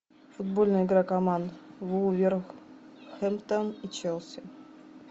футбольная игра команд вулверхэмптон и челси